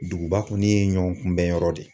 Duguba kɔni ye ɲɔgɔnkunbɛnyɔrɔ de